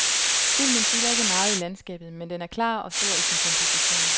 Filmen fylder ikke meget i landskabet, men den er klar og stor i sin komposition.